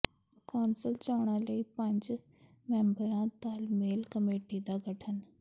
council ਚੋਣਾਂ ਲਈ ਪੰਜ ਮੈਂਬਰੀ ਤਾਲਮੇਲ ਕਮੇਟੀ ਦਾ ਗਠਨ